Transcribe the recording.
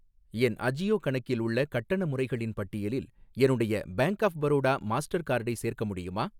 என் அஜியோ கணக்கில் உள்ள கட்டண முறைகளின் பட்டியலில் என்னுடைய பேங்க் ஆஃப் பரோடா மாஸ்டர் கார்டை சேர்க்க முடியுமா?